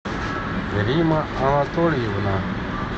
римма анатольевна